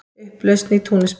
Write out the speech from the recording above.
Upplausn í Túnisborg